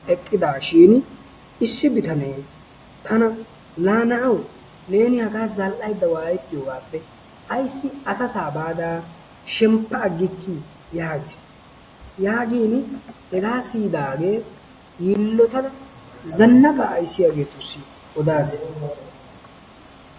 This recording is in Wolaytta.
Eqqidaashiini issi bitanee tana laa na'awu neeni hagaa zal"aydda waayettiyogaappe ayssi asasaa baada shemppa aggikkii yaagiis. Yaagiini hegaa siyidaagee yiillotada zannaqaa ayssiyageetussi odaasi.